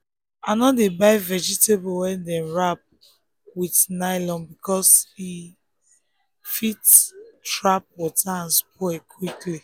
i no dey buy vegetable wey dem wrap with nylon because e because e fit trap water and spoil quick.